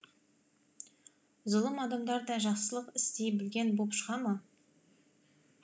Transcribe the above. зұлым адамдар да жақсылық істей білген боп шыға ма